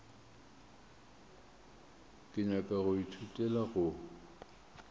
ke nyaka go ithutela go